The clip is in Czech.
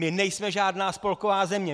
My nejsme žádná spolková země!